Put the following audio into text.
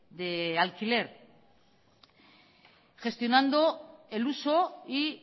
de alquiler gestionando el uso y